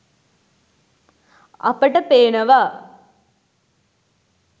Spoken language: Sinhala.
අපට පේනවා